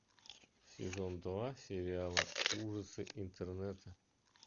сезон два сериала ужасы интернета